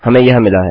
हमें यह मिला है